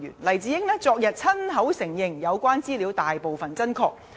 黎智英昨親口承認有關資料大部分真確。